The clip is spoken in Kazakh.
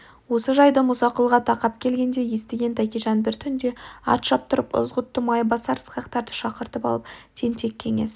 осы жайды мұсақұлға тақап келгенде естіген тәкежан бір түнде ат шаптырып ызғұтты майбасар ысқақтарды шақыртып алып тентек кеңес